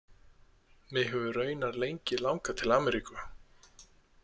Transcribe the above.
Mig hefur raunar lengi langað til Ameríku.